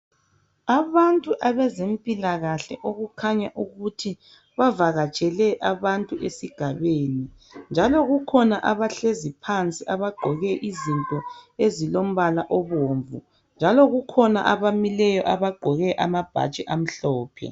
Abantu abezempilakahle okukhanya ukuthi bavakatshele abantu esigabeni njalo kukhona abahlezi phansi abagqoke izinto ezilombala obomvu njalo kukhona abamileyo abagqoke amabhatshi amhlophe.